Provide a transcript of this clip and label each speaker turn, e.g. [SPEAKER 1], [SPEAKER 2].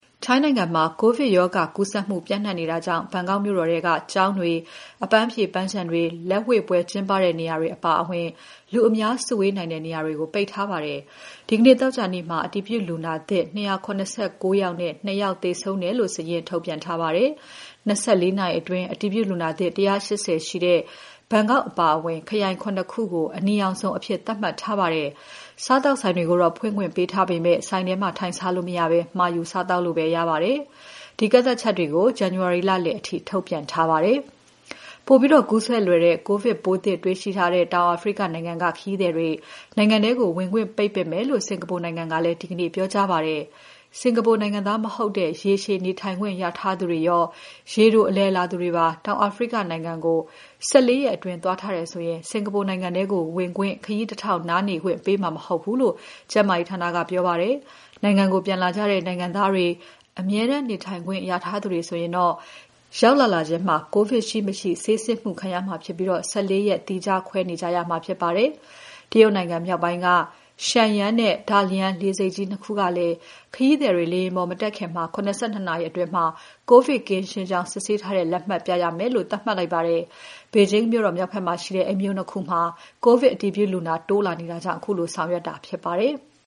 [SPEAKER 1] ထိုင်းနိုင်ငံမှာ ကိုဗစ်ရောဂါကူးစက်မှု ပျံ့နှံ့နေတာကြောင့် ဘန်ကောက်မြို့တော်ထဲက ကျောင်းတွေ၊ အပန်းဖြေ ပန်းခြံတွေ၊ လက်ဝှေ့ပွဲ ကျင်းပတဲ့နေရာတွေ၊ အပါအဝင် လူအများစုဝေးနိုင်တဲ့ နေရာတွေကို ပိတ်ထားပါတယ်။ ဒီနေ့ သောကြာနေ့မှာ အတည်ပြုလူနာသစ် ၂၇၉ ယောက်နဲ့ ၂ ယောက်သေဆုံးတယ်လို့ စာရင်းထုတ်ပြန်ထားပါတယ်။ ၂၄ နာရီအတွင်း အတည်ပြုလူနာသစ် ၁၈၀ ရှိတဲ့ ဘန်ကောက်အပါအဝင် ခရိုင် ၇ ခုကို အနီရောင်ဇုန်အဖြစ်သတ်မှတ်ထားပါတယ်။ စားသောက်ဆိုင်တွေကိုတော့ ဖွင့်ခွင့်ပေးထားပေမဲ့ ဆိုင်ထဲ ထိုင်စားလို့မရဘဲ မှာယူစားလို့ပဲ ရပါတယ်။ ဒီကန့်သတ်ချက်တွေကို ဇန်နဝါရီလလည်အထိ ထုတ်ပြန်ထားပါတယ်။ ပိုပြီးကူးစက်လွယ်တဲ့ ကိုဗစ်ပိုးသစ် တွေ့ရှိထားတဲ့ တောင်အာဖရိကနိုင်ငံက ခရီးသည်တွေ နိုင်ငံထဲ ဝင်ခွင့် ပိတ်ပင်မယ်လို့ စင်္ကာပူနိုင်ငံကလည်း ဒီနေ့ ပြောကြားပါတယ်။ စင်္ကာပူနိုင်ငံသား မဟုတ်တဲ့ ရေရှည်နေထိုင်ခွင့်ရထားသူတွေရော ရေတိုအလည်လာသူတွေပါ တောင်အာဖရိကနိုင်ငံကို ၁၄ ရက်အတွင်း သွားထားတယ်ဆိုရင် စင်္ကာပူထဲ ဝင်ခွင့်၊ ခရီးတထောက် နားနေခွင့်ပေးမှာ မဟုတ်ဘူးလို့ ကျန်းမာရေးဌာနက ပြောပါတယ်။ နိုင်ငံကို ပြန်လာတဲ့ နိုင်ငံသားတွေ၊ အမြဲတမ်းနေထိုင်ခွင့်ရထားသူတွေဆိုရင်တော့ ရောက်လာလာချင်း ကိုဗစ် ရှိ၊ မရှိ ဆေးစစ်မှုခံရမှာဖြစ်ပြီး ၁၄ ရက် သီးခြားခွဲနေကြရမှာဖြစ်ပါတယ်။ တရုတ်နိုင်ငံမြောက်ပိုင်းက Shenyang နဲ့ Dalian လေဆိပ်ကြီး ၂ ခုကလည်း ခရီသည်တွေ လေယာဉ်ပေါ် မတက်ခင် ၇၂ နာရီအတွင်း ကိုဗစ်ကင်းရှင်းကြောင်း ဆေးစစ်ထားတဲ့ လက်မှတ်ပြရမယ်လို့ သတ်မှတ်လိုက်ပါတယ်။ ဘေဂျင်းမြို့တော် မြောက်ဘက်မှာ ရှိတဲ့ အဲဒီမြို့ ၂ ခုမှာ ကိုဗစ်အတည်ပြုလူနာ တိုးလာနေတာကြောင့် ခုလို ဆောင်ရွက်တာဖြစ်ပါတယ်။